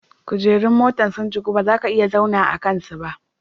Kujerun motan sun jiku ba za ka iya zauna a sama'n su ba.